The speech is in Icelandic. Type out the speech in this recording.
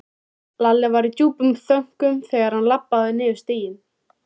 Lalli var í djúpum þönkum þegar hann labbaði niður stigann.